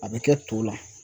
A bɛ kɛ to la.